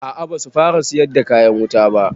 A a basu fara siyar da kayan wuta ba.